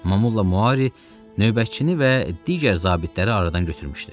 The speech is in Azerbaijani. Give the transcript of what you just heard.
Momulla Mauri növbətçini və digər zabitləri aradan götürmüşdü.